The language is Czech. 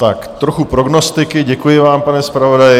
Tak trocha prognostiky, děkuji vám, pane zpravodaji.